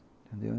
Entendeu?